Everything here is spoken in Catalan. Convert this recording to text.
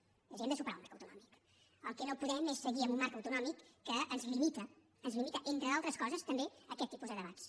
és a dir hem de superar el marc autonòmic el que no podem és seguir en un marc autonòmic que ens limita ens limita entre d’altres coses també aquests tipus de debats